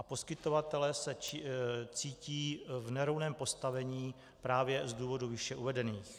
A poskytovatelé se cítí v nerovném postavení právě z důvodů výše uvedených.